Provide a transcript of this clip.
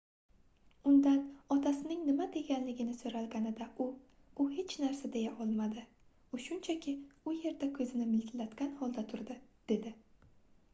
undan otasining nima deganligini soʻralganida u u hech narsa deya olmadi u shunchaki u yerda koʻzini miltillatgan holda turdi dedi